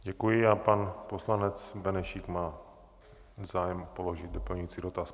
Děkuji a pan poslanec Benešík má zájem položit doplňující dotaz.